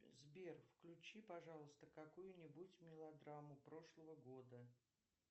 сбер включи пожалуйста какую нибудь мелодраму прошлого года